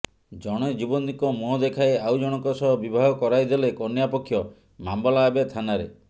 ଜଣେ ଯୁବତୀଙ୍କ ମୁହଁ ଦେଖାଇ ଆଉ ଜଣକ ସହ ବିବାହ କରାଇଦେଲେ କନ୍ୟାପକ୍ଷ ମାମଲା ଏବେ ଥାନାରେ